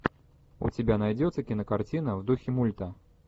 у тебя найдется кинокартина в духе мульта